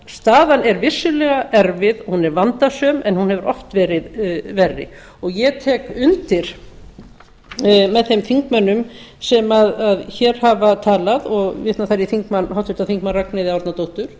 staðan er vissulega erfið hún er vandasöm en hún hefur oft verið verri ég tek undir með þeim þingmönnum sem hér hafa talað og vitna þar í háttvirtum þingmanni ragnheiði